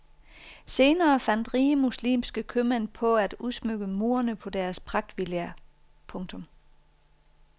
Senere fandt rige muslimske købmænd på at udsmykke murene på deres pragtvillaer. punktum